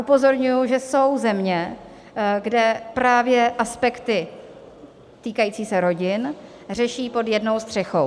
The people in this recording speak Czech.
Upozorňuji, že jsou země, kde právě aspekty týkající se rodin řeší pod jednou střechou.